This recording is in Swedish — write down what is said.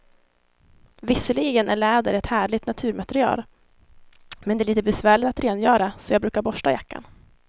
Visserligen är läder ett härligt naturmaterial, men det är lite besvärligt att rengöra, så jag brukar borsta jackan.